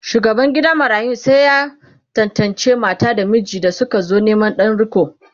shugaban gidan marayun sai ya tantance mata da miji da sukazo Neman Dan riko